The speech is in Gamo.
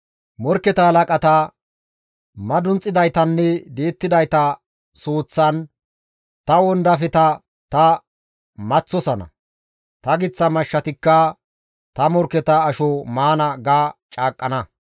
Morkketa halaqata, madunxidaytanne di7ettidayta suuththan ta wondafeta ta maththosana; ta giththa mashshatikka ta morkketa asho maana› ga caaqqana.